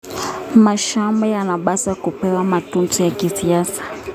Mashamba yanapaswa kupewa matunzo ya kisasa.